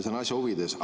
See on asja huvides.